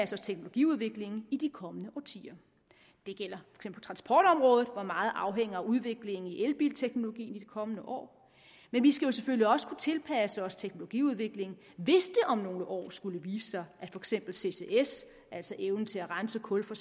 os teknologiudviklingen i de kommende årtier det gælder transportområdet hvor meget afhænger af udviklingen i elbilteknologi i de kommende år men vi skal selvfølgelig også kunne tilpasse os teknologiudviklingen hvis det om nogle år skulle vise sig at for eksempel ccs altså evnen til at rense kul for